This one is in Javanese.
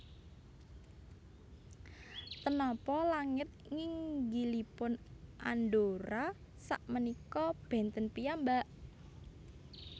Ten nopo langit nginggilipun Andorra sak menika benten piyambak?